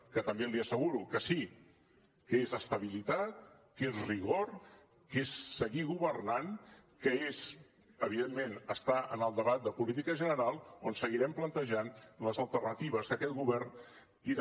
que també li asseguro que sí que és estabilitat que és rigor que és seguir governant que és evidentment estar en el debat de política general on seguirem plantejant les alternatives que aquest govern tira